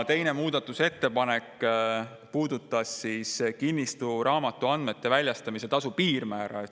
Teine muudatusettepanek puudutas kinnistusraamatu andmete väljastamise tasu piirmäära.